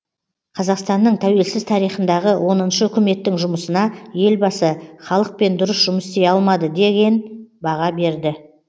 қазақстанның тәуелсіз тарихындағы оныншы үкіметтің жұмысына елбасы халықпен дұрыс жұмыс істей алмады деген баға берді